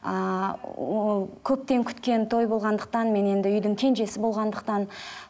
ааа ол көптен күткен той болғандықтан мен енді үйдің кенжесі болғандықтан